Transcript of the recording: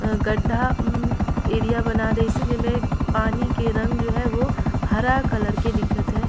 गड्डा उम्म एरिया बना दिसे जेमे पानी के रंग जो है वो हरा कलर के दिखत हय।